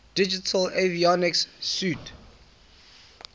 digital avionics suite